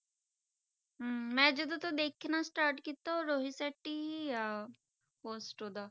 ਹਮ ਮੈਂ ਜਦੋਂ ਤੋਂ ਦੇਖਣਾ start ਕੀਤਾ ਵਾ ਰੋਹਿਤ ਸੈਟੀ ਹੀ ਆ first ਉਹਦਾ।